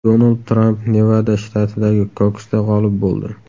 Donald Tramp Nevada shtatidagi kokusda g‘olib bo‘ldi .